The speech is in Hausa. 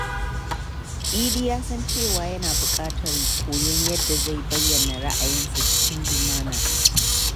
Idi ya san cewa yana buƙatar koyon yadda zai bayyana ra’ayinsa cikin lumana.